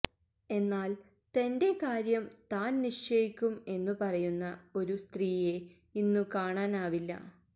എന്നാല് തന്റെ കാര്യം താന് നിശ്ചയിക്കും എന്നു പറയുന്ന ഒരു സ്ത്രീയെ ഇന്നു കാണാനാവില്ല